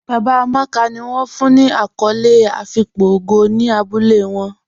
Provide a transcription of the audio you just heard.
Baba Amàkà ni wọn fún ní akòlé àfíkpò ògó ní àbúlẹ̀ wọn.